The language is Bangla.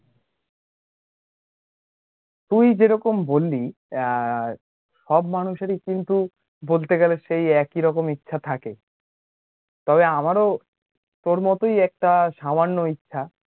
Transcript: তুই যেরকম বললি আ সব মানুষের ই কিন্তু বলতে গেলে সেই একইরকম ইচ্ছা থাক , তবে আমারও তোর মতোই একটা সামান্য ইচ্ছা